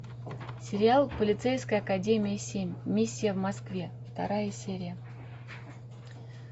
сериал полицейская академия семь миссия в москве вторая серия